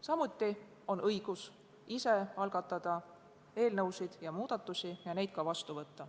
Samuti on Riigikogul õigus ise algatada eelnõusid ja muudatusi ning neid vastu võtta.